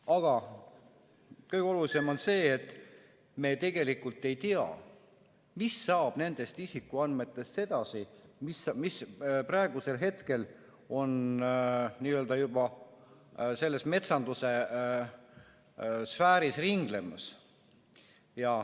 Aga kõige olulisem on see, et me tegelikult ei tea, mis saab edasi nendest isikuandmetest, mis praegusel hetkel on juba n-ö selles metsanduse sfääris ringlemas.